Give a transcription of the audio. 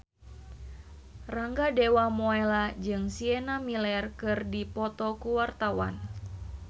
Rangga Dewamoela jeung Sienna Miller keur dipoto ku wartawan